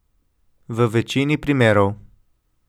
V večini primerov.